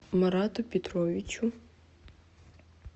марату петровичу